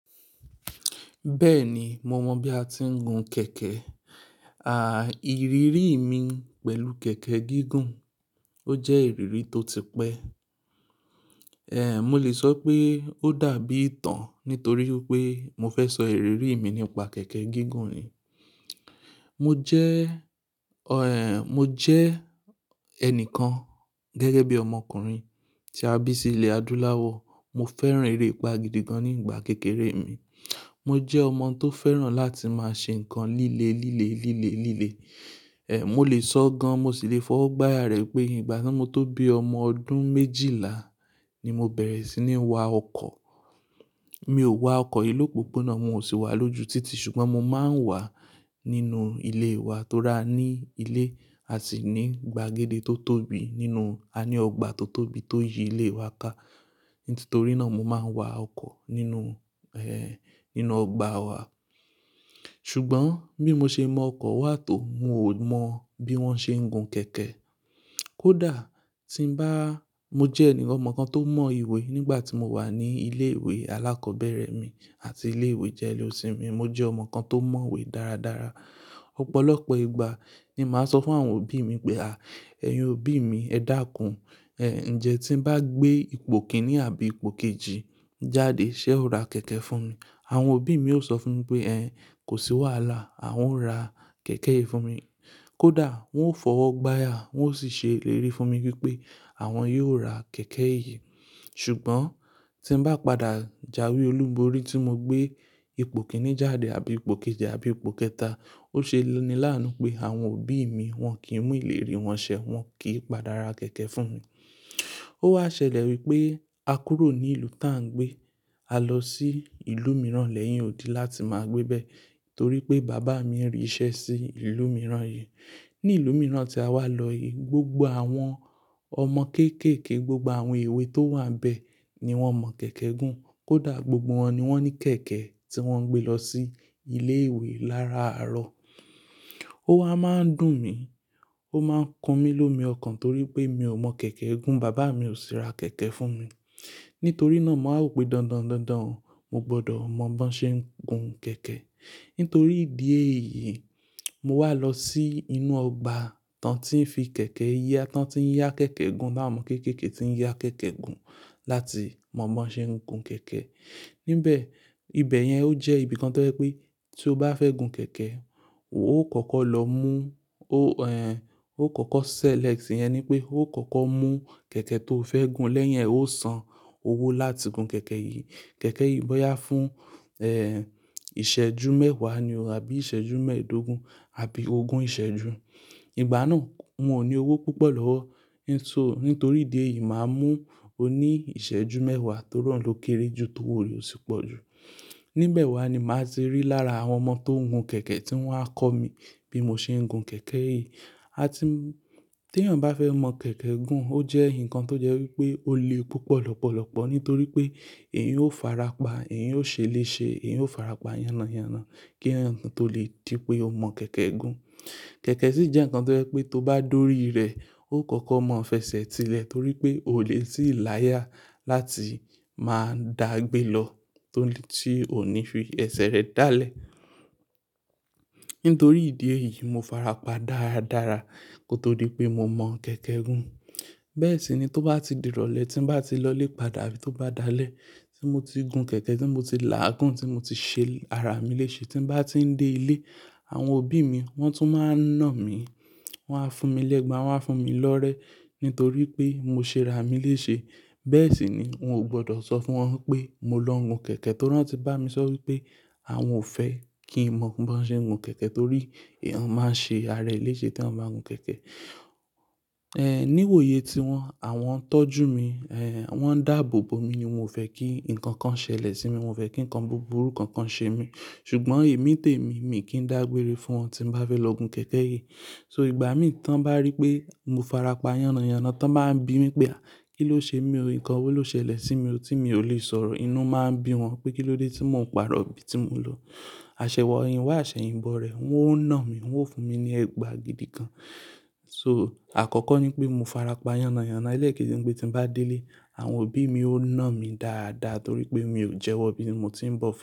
Bẹ́ẹ̀ni, mo mọ bí a ti ń gun kẹ̀kẹ́. À, ìrírí mi pẹ̀lú kẹ̀kẹ́ gígùn, ó jẹ́ ìrírí tó ti pẹ́. Mo lè sọ pé ó dàbí ìtàn nítorí pé mo fẹ́ sọ ìrírí mi nípa kẹ̀kẹ́ gígùn yìí. Mo jẹ́, mo jẹ́ ẹnìkan gẹ́gẹ́ bí ọmọkùnrin tí a bí sí ilẹ̀ Adúláwọ̀. Mo fẹ́ràn eré ipa gan ní ìgbà kékeré mi. Mo jẹ́ ọmọ tó fẹ́ràn láti máa ṣe ǹkan líle, líle, líle, líle. Mo lè sọ gan, mo sì lè fọwọ́ gbáya rẹ̀ pé ìgbà tí mo tó bí ọmọ ọdún méjìlá ni mo bẹ̀rẹ̀ sí ní wa ọkọ̀. Mi ò wa ọkọ̀ ìlú púpọ̀ náà, mo sì wà lójú títì ṣùgbọ́n mo máa ń wà nínú ilé wa tó ra ní ilé àti ní gbàgede tó tóbi nínú-- a ní ọgbà tó tóbi tó yi ilé wa ka. Nítorínà mo máa ń wa ọkọ̀ nínú, nínú ọgbà wa. Ṣùgbọ́n bí mo ṣe mọ ọkọ̀ wà tó, mo ò mọ bí wọ́n ṣe ń gun kẹ̀kẹ́. Kódà tí ń bá-- mo jẹ́ ẹnìkan ọmọ kan tó mọ ìwé nígbà tí mo wà ní ilé ìwé alákọ̀ọ́bẹ̀rẹ̀ mi àti ilé ìwé jẹ́léósìn mi. Mo jẹ́ ọmọ kan tó mọ ìwé dáradára. Ọ̀pọ̀lọpọ̀ ìgbà ni màá sọ fún àwọn òbí mi pé, "à, ẹ̀yin òbí mi ẹ dàkún. Njẹ́ tí ń bá gbé ipò kìnì àbí ipò kejì jáde, ṣe ó ra kẹ̀kẹ́ fún mi?" Àwọn òbí mi yóò sọ fún mi pé, "ehn, kò sí wàhálà, awon o rà kẹ̀kẹ́ yìí fún mi." Kódà wọ́n ó fọwọ́ gbára wọ́n ó sì ṣe ìlérí fún mi wípé àwọn yóò ra kẹ̀kẹ́ yìí. Ṣùgbọ́n tí ń bá padà jáwé olùborí tí mo gbé ipò kìnì jáde àbí ipò kejì àbí ipò kẹta, ó ṣe ni láàánú pé àwọn òbí mi wọn kì í mú ìlérí wọn ṣẹ, wọn kì í padà ra kẹ̀kẹ́ fún mi. Ó wá ṣẹlẹ̀ wípé a kúrò ní ìlú tá ń gbé, a lọ sí ìlú mìíràn lẹ́yìn òdì láti máa gbébẹ̀ nítorí pé bàbá mi rì í ṣẹ sí ìlú mìíràn yìí. Ní ìlú mìíràn tí a wá lọ yìí, gbogbo àwọn ọmọ kéékèèké, gbogbo àwọn ìwé tó wà níbẹ̀ ni wọ́n mọ kẹ̀kẹ́ gùn. Kódà gbogbo wọn ni wọ́n ní kẹ̀kẹ́ tí wọ́n ń gbé lọ sí ilé ìwé láràárọ̀. Ó wá máa ń dùn mí, ó máa ń kan mí lomi ọkàn torí pé mi ò mọ kẹ̀kẹ́ gùn, bàbá mi ò sì ra kẹ̀kẹ́ fún mi. Nítorí náà, màá mọ̀ pé dandan, dandan mo gbọdọ̀ mọ bí wọ́n ṣe ń gun kẹ̀kẹ́. Nítorí ìdí èyí, mo wá lọ sí inú ọgbà tán tí ń fi kẹ̀kẹ́ ya, tán tí ń yá kẹ̀kẹ́ gùn láàárín ọmọ kéékèèké tí ń yá kẹ̀kẹ́ gùn láti mọ bí wọ́n ṣe ń gun kẹ̀kẹ́. Níbẹ̀, ibẹ̀ yẹn ó jẹ́ ibi kan tó jẹ́ pé tí o bá fẹ́ gun kẹ̀kẹ́, o ó kọ́kọ́ lọ mú, o kòkò sẹ́lẹ̀ct iyẹn ni pé o kòkò mú kẹ̀kẹ́ tó fẹ́ gùn lẹ́yìn ẹ ó san owó láti gun kẹ̀kẹ́ yìí. Kẹ̀kẹ́ yìí bóyá fún, iṣẹ́jú mẹ́wàá ni o àbí ìṣẹ́jú mẹ́ẹ̀ẹ́dógún àbí ogún ìṣẹ́jú. Ìgbà náà n ò ni owó púpọ̀ lọ́wọ́. Nítorí ìdí èyí, màá mú oní ìṣẹ́jú mẹ́wàá tó ri oun ló kéré jù tówò re osì pọ̀ jù. Níbẹ̀ wa ni màá ti rí lára àwọn ọmọ tó ń gun kẹ̀kẹ́ tí wọ́n á kọ́ mi bí mo ṣe ń gun kẹ̀kẹ́ yìí. A ti m-- tí èèyàn bá fẹ́ mọ kẹ̀kẹ́ gùn ó jẹ́ ǹkan tó jẹ́ wípé ó le púpọ̀ lọ́pọ̀lọpọ̀ nítorí pé èèyàn ó fara pa, èèyàn ó ṣe léṣe, èèyàn ó fara pa yánnáyànná kí èèyàn tó lè di pé ó mọ kẹ̀kẹ́ gùn. Kẹ̀kẹ́ sì jẹ́ ǹkan tó jẹ́ pé tó bá dori rẹ̀, o kòkò mọ̀ fẹsẹ̀ ti lẹ̀ torí pé o lè tíì láyà láti máa dàgbé lọ tó lè-- tí ò ní fi ẹsẹ̀ rẹ dálẹ̀. Nítorí ìdí èyí, mo fara pa dáradára kó tó di pé mo mọ̀ kẹ̀kẹ́ gùn. Bẹ́ẹ̀ sì ni tó bá ti di ìrọ̀lẹ́, tí ń bá ti lọ lè padà àbí tó bá dalẹ́ tí mo ti gun kẹ̀kẹ́, tí mo ti làágùn, tí mo ti ṣe ara mi léṣe, tí ń bá ti ń dé ilé, àwọn òbí mi wọ́n tún máa ń nà mí. Wọ́n á fún mi lẹ́gba, wọ́n á fún mi lọ́rẹ nítorí pé mo ṣe ara mi léṣe. Bẹ́ẹ̀ sì ni n ò gbọdọ̀ sọ fún wọn pé mo lọ gun kẹ̀kẹ́ torí wọ́n ti bá mi sọ wípé àwọn ò fẹ́ kí n mọ bí wọ́n ṣe ń gun kẹ̀kẹ́ torí èèyàn máa ń ṣe ara rẹ̀ léṣe tí wọ́n bá ń gun kẹ̀kẹ́. Níwòye tí wọ́n, àwọn ń tọ́jú mi, wọ́n ń dàbòbò mi ni won ò fẹ́ kí ǹkan kan ṣẹlẹ̀ sí mi, won ò fẹ́ kí ǹkan búburú kankan ṣe mí. Ṣùgbọ́n èmi tèmi, mi kì í dàgbére fún wọn tí ń bá fẹ́ lọ gun kẹ̀kẹ́ yìí. So ìgbà mìí tán bá rí pé mo fara pa yánnáyànná, tan bá ń bi mí pé, "à, kí ló ṣe mi? Nkàn wo ló ṣẹlẹ̀ sí mi tí mo lè sọ̀rọ̀?" Inú máa ń bi wọn pé kí ló dé tí mò ń parọ́ ibi tí mò ń lọ. Aṣẹyinwà àṣẹyinbọ rẹ̀, wọ́n ó nà mí, wọ́n ó fún mi ní ẹgba gidi kan. So àkọ́kọ́ ni pé mo fara pa yánnáyànná elekeji ni pé tí ń bá dé ilé, àwọn òbí mi ó ń nà mí dáadáa torí pé mi ò jẹwọ bí mo ti ń bọ̀ fún wọn.